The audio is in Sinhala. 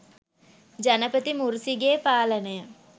ජනපති මුර්සිගේ පාලනය